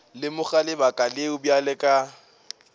lemoga lebaka leo bjale ka